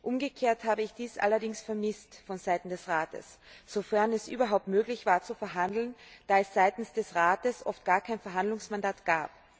Umgekehrt habe ich dies allerdings von Seiten des Rates vermisst sofern es überhaupt möglich war zu verhandeln, da es seitens des Rates oft gar kein Verhandlungsmandat gab.